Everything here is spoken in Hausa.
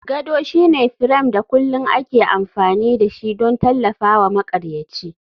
Gado shine firam da kulin da ake amfani da shi don tallafawa maƙaryaci.